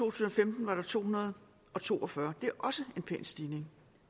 og femten var der to hundrede og to og fyrre det er også en pæn stigning